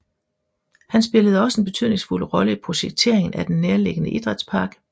Han spillede også en betydningsfuld rolle i projekteringen af den nærliggende Idrætspark